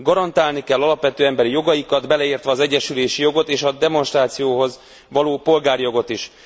Garantálni kell alapvető emberi jogaikat, beleértve az egyesülési jogot és a demonstrációhoz való polgárjogot is.